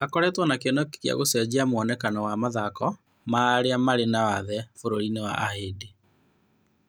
Akoretwo na kĩoneki gĩa gũcenjia mwonekano wa mathako ma arĩa marĩ wathe bũrũriinĩ wa Ahĩndĩ.